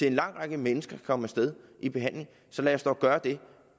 en lang række mennesker kan komme i behandling så lad os dog gøre det